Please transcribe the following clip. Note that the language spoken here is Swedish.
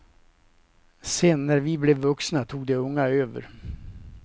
Sen när vi blev vuxna tog de unga över.